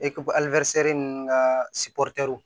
ninnu ka